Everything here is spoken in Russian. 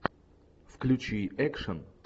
включи экшен